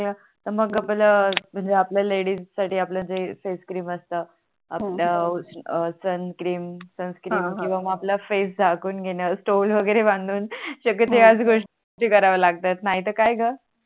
तर मग पहिल म्हणजे आपल्या लेडीज साठी आपल्या जे Face cream असत आपल्या Sunscreen हा हा सनक्रीम किवा मग आपला फेस झाकून घेण स्टोल वगेरे बांधून सगडे ते ह्याच गोष्टी करावे लागत नाही तर काय ग